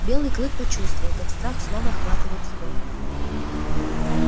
белый клык почувствовал как страх снова охватывает его